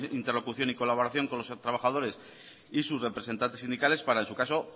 interlocución y colaboración con los trabajadores y sus representantes sindicales para en su caso